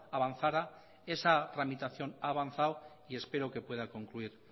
avanzara esa tramitación ha avanzado y espero que pueda concluir